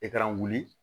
E ka wuli